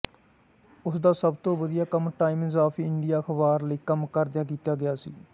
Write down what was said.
ਉਸਦਾ ਸਭ ਤੋਂ ਵਧੀਆ ਕੰਮ ਟਾਈਮਜ਼ ਆਫ ਇੰਡੀਆ ਅਖ਼ਬਾਰ ਲਈ ਕੰਮ ਕਰਦਿਆਂ ਕੀਤਾ ਗਿਆ ਸੀ